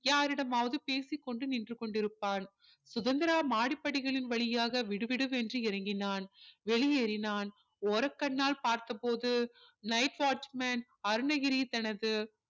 யாரிடமாவது பேசி கொண்டு நின்று கொண்டிருப்பான் சுதந்திரா மாடிப்படிகளின் வழியாக விடுவிடு என்று இறங்கினான் வெளியேறினான் ஓரக்கண்ணால் பார்த்த போது night watch man அருணகிரி தனது